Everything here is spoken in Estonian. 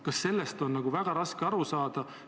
Kas sellest on väga raske aru saada?